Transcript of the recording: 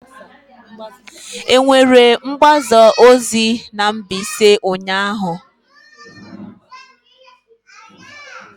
Enwere mgbaza ozi na Mbaise ụnyahụ?